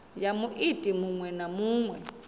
ya muiti muṅwe na muṅwe